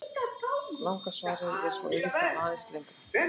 Langa svarið er svo auðvitað aðeins lengra.